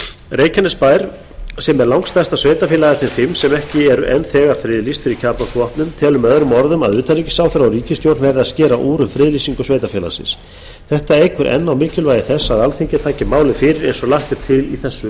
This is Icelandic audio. reykjanesbær sem er langstærsta sveitarfélag af þeim fimm sem ekki er enn þegar friðlýst fyrir kjarnorkuvopnum telur með öðrum orðum að utanríkisráðherra og ríkisstjórn verða að skera úr um friðlýsingu sveitarfélagsins þetta eykur enn á mikilvægi þess að alþingi taki málið fyrir eins og lagt er til í þessu